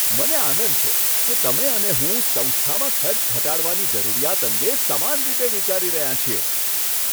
મને આનંદ છે કે તમે અને હું સંસ્થામાં ખર્ચ ઘટાડવાની જરૂરિયાત અંગે સમાન રીતે વિચારી રહ્યા છીએ.